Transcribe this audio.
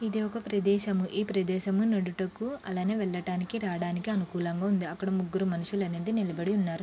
ఇది ఒక ప్రదేశము ఈ ప్రదేశమునుడుటకు అలానే వెళ్ళటానికి రాడానికి అనుకూలంగా ఉంది అక్కడ ముగ్గురు మనుషులు అనేది నిలబడి ఉన్నారు.